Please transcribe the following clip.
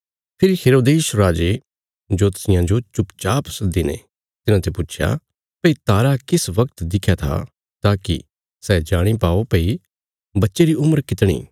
फेरी हेरोदेस राजे जोतषियां जो चुपचाप सद्दीने तिन्हाते पुच्छया भई तारा किस बगत दिख्या था ताकि सै जाणी पाओ भई बच्चे री उम्र कितणी